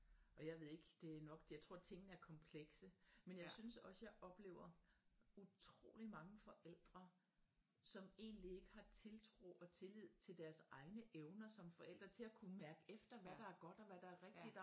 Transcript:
Og jeg ved ikke det nok jeg tror tingene er komplekse men jeg synes også jeg oplever utroligt mange forældre som egentligt ikke har tiltro og tillid til deres egne evner som forældre til at kunne mærke efter hvad der er godt og hvad der er rigtigt